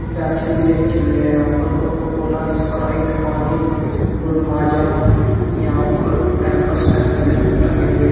Pepsi भी रखी हुई है यहां पर। कोको कोला स्प्राइट पानी और माजा यहां और पेम्पर्स पैंट भी लगे टंगे हुए --